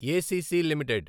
ACC limited